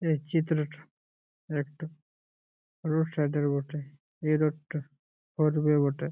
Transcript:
এই চিত্রটা একটা রোড সাইড -এর বটে এই রোড -টা বটে।